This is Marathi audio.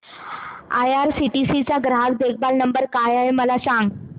आयआरसीटीसी चा ग्राहक देखभाल नंबर काय आहे मला सांग